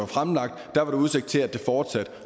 fremlagt var der udsigt til at det ville fortsætte